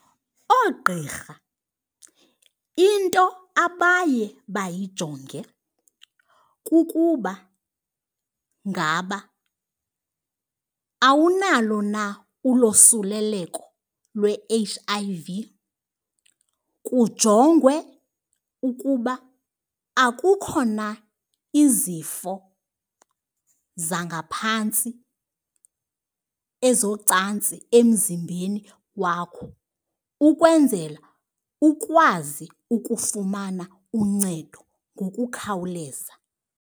Oogqirha into abaye bayayijonge kukuba ngaba awunalo na ulosuleleko lwe-H_I_V. Kujongwe ukuba akukho na izifo zangaphantsi ezocantsi emzimbeni wakho ukwenzela ukwazi ukufumana uncedo ngokukhawuleza.